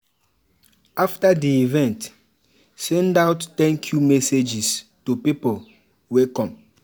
After di event, send out thank you messages to pipo wey come